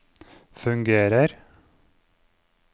fungerer